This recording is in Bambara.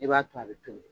I b'a to a bɛ toli